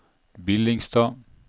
Billingstad